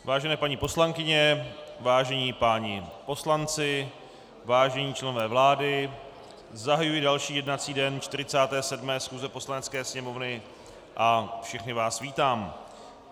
Vážené paní poslankyně, vážení páni poslanci, vážení členové vlády, zahajuji další jednací den 47. schůze Poslanecké sněmovny a všechny vás vítám.